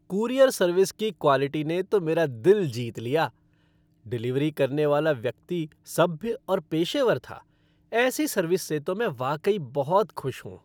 Courier service की quality ने तो मेरा दिल जीत लिया। डिलीवरी करने वाला व्यक्ति सभ्य और पेशेवर था, ऐसी सर्विस से तो मैं वाकई बहुत खुश हूँ।